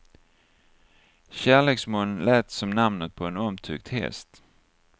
Kärleksmoln lät som namnet på en omtyckt häst.